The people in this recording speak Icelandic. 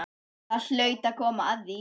Það hlaut að koma að því